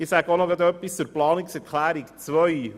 Ich sage nun etwas zur Planungserklärung 2.